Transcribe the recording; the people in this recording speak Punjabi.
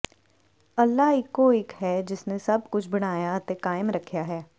ਅੱਲ੍ਹਾ ਇਕੋ ਇਕ ਹੈ ਜਿਸਨੇ ਸਭ ਕੁਝ ਬਣਾਇਆ ਅਤੇ ਕਾਇਮ ਰੱਖਿਆ ਹੈ